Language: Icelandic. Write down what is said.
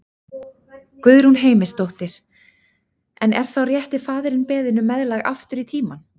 Guðrún Heimisdóttir: En er þá rétti faðirinn beðinn um meðlag aftur í tímann?